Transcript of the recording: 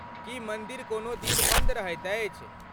की मन्दिर कोनो दिन बन्द रहैत अछि?